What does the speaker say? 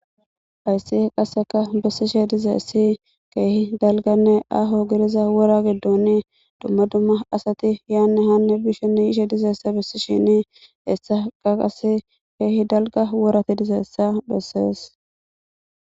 Hayssi qaseka bessishe dizeessi keehi dalganne aho giriza wora giddoni dumma dumma asati yaane hanne bishinni yishe dizeessa bissishini essa qa qas keehi dalga worati dizeessa bessees.